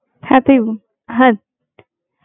কি করবি তাহলে বল? তাহলে খাতায় লিখেনে নাকি?